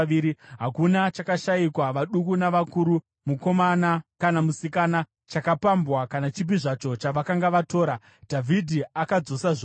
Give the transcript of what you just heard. Hakuna chakashayikwa: vaduku navakuru, mukomana kana musikana, chakapambwa kana chipi zvacho chavakanga vatora. Dhavhidhi akadzosa zvose.